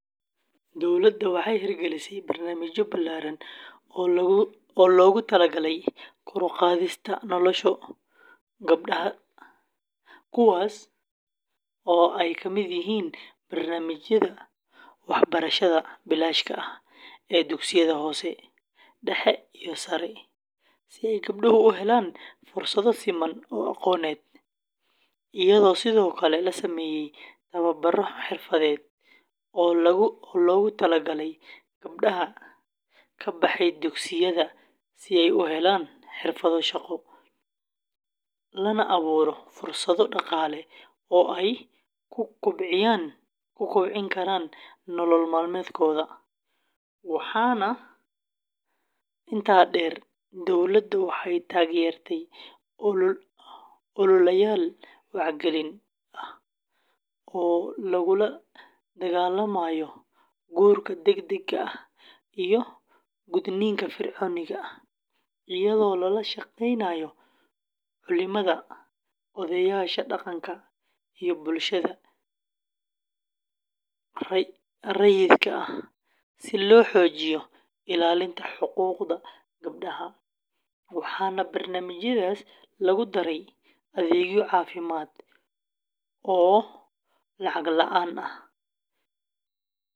Dowladda waxay hirgelisay barnaamijyo ballaaran oo loogu talagalay kor u qaadista nolosha gabdhaha Soomaaliyeed, kuwaas oo ay ka mid yihiin barnaamijyada waxbarashada bilaashka ah ee dugsiyada hoose, dhexe iyo sare, si ay gabdhuhu u helaan fursado siman oo aqooneed, iyadoo sidoo kale la sameeyay tababaro xirfadeed oo loogu talagalay gabdhaha ka baxay dugsiyada si ay u helaan xirfado shaqo, lana abuuro fursado dhaqaale oo ay ku kobcin karaan nolol maalmeedkooda; waxaa intaa dheer, dowladda waxay taageertay ololayaal wacyigelin ah oo lagula dagaallamayo guurka degdega ah iyo gudniinka fircooniga ah, iyadoo lala shaqeynayo culimada, odayaasha dhaqanka iyo bulshada rayidka ah si loo xoojiyo ilaalinta xuquuqda gabdhaha, waxaana barnaamijyadaas lagu daray adeegyo caafimaad oo lacag la’aan ah.